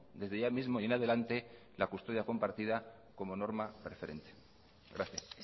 desde ya mismo y en adelante la custodia compartida como norma preferente gracias